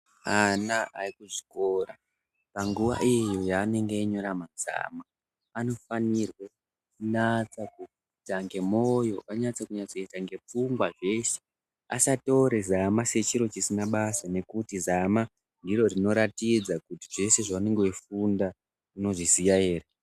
Ana ekuzvikora panguwa iyo yavanenge veinyora mazama anofanire kunyasakuita nemoyo, vanofanire kunyatsokuita ngepfungwa zveshe asatore zama sechiro chisina basa ngekuti zama ndiro rinoratidza kuti zveshe zvaunenge weifunda unozviziya ere.